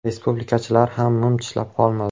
Respublikachilar ham mum tishlab qolmadi.